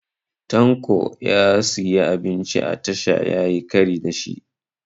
Tanko ya siyi abinci a tasha yayi kari da shi